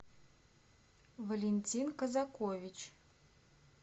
валентин казакович